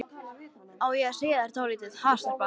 Á ég að segja þér dálítið, ha, stelpa?